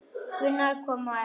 Gunnar kom á eftir.